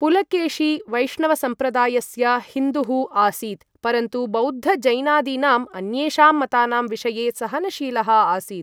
पुलकेशी वैष्णवसम्प्रदायस्य हिन्दुः आसीत्, परन्तु बौद्ध जैनादीनाम् अन्येषां मतानां विषये सहनशीलः आसीत्।